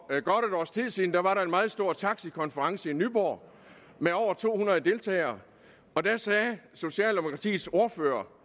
siden var der en meget stor taxikonference i nyborg med over to hundrede deltagere og der sagde socialdemokratiets ordfører